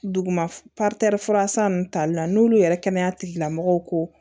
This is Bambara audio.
Duguma fura san nunnu tali la n'olu yɛrɛ kɛnɛya tigilamɔgɔw ko